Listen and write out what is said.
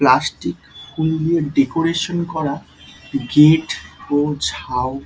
plastic ফুল দিয়ে decoration করা গেট ও ঝাউ--